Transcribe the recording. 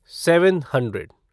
seven hundred